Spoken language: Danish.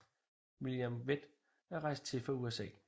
William Vett er rejst til fra USA